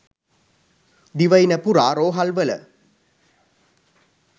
දිවයින පුරා රෝහල්වල